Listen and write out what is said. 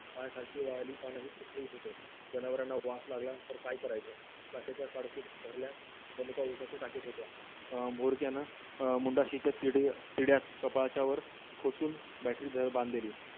पायाखालची वारली का नाही तो जनावरांना वास लागला तर काय करायचं? भरल्या उपाशी टाकीत होत्या अं battery